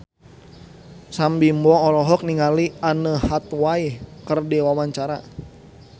Sam Bimbo olohok ningali Anne Hathaway keur diwawancara